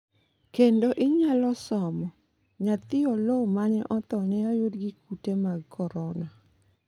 kendo inyalo somo: nyathi Oloo mane otho ne oyud gi kute mag korona